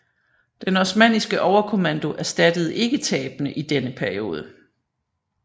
Den osmanniske overkommando erstattede ikke tabene i denne periode